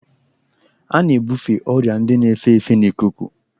A na-ebufe ọrịa ndị na-efe efe n'ikuku.